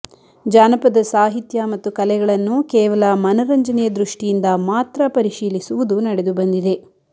ಜಾನಪದ ಸಾಹಿತ್ಯ ಮತ್ತು ಕಲೆಗಳನ್ನು ಕೇವಲ ಮನರಂಜನೆಯ ದೃಷ್ಟಿಯಿಂದ ಮಾತ್ರ ಪರಿಶೀಲಿಸುವುದು ನಡೆದು ಬಂದಿದೆ